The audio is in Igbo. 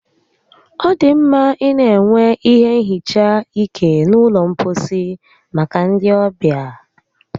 Ọ dị mma ịna enwe ihe nhicha ike n'ụlọ mposi maka ndi ọbịa